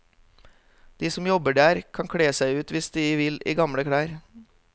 De som jobber der, kan kle seg ut hvis de vil i gamle klær.